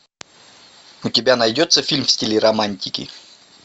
у тебя найдется фильм в стиле романтики